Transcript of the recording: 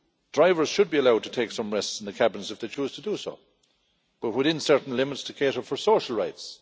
Drivers should be allowed to take some rests in their cabins if they choose to do so, but within certain limits to cater for social rights.